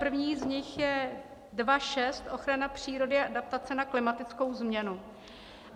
První z nich je 2.6 Ochrana přírody a adaptace na klimatickou změnu.